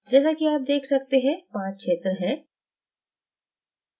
जैसा कि आप देख सकते हैं 5 क्षेत्र हैं